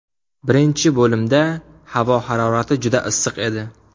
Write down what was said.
Birinchi bo‘limda havo harorati juda issiq edi.